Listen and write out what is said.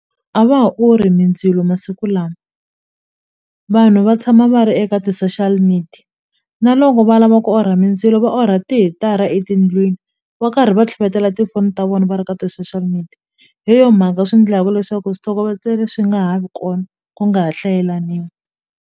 A va ha orhi mindzilo masiku lama vanhu va tshama va ri eka ti-social media na loko va lava ku orha mindzilo va orha tihitara etindlwini va karhi va tlhavetela tifoni ta vona va ri ka ti-social media hi yo mhaka swi ndlaku leswaku switlokovetselo swi nga ha vi kona ku nga ha hlayelaniwi.